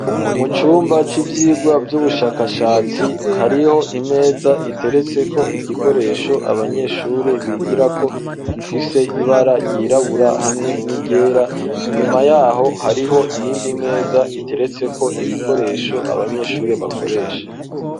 Mu cumba c'ivyirwa vy'ubushakashatsi hariho imeza iteretse ko igikoresho abanyeshuri bigirako gifise ibara ryirabura hamwe n'iryera inyuma yaho hariho iyindi meza iteretseko ibikoresho abanyeshuri bakoresha